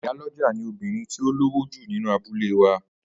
Ìyálọ́jà ni obìnrin tí ó lówó jù nínú abúlé wa